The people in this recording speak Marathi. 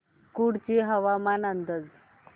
कुडची हवामान अंदाज